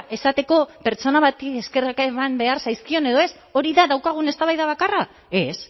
esateko pertsona bati eskerrak eman behar zaizkion edo ez hori da daukagun eztabaida bakarra ez